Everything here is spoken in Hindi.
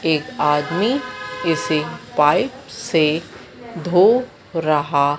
एक आदमी किसी पाइप से धो रहा--